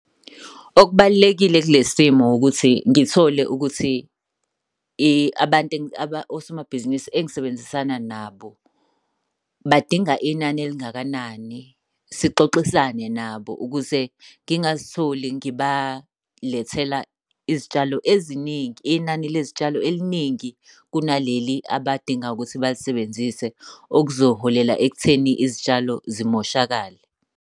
Okubalulekile kule simo ukuthi ngithole ukuthi abantu osomabhizinisi engisebenzisana nabo badinga inani elingakanani, sixoxisane nabo ukuze ngingazitholi ngibalethela izitshalo eziningi. Inani lezitshalo eliningi kunaleli abadinga ukuthi balisebenzise, okuzoholela ekutheni izitshalo zimoshakale.